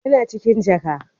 Yana cikin jaka